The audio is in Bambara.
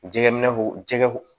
Jɛgɛ minɛ ko jɛgɛw